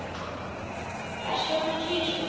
Hvers vegna tvisvar?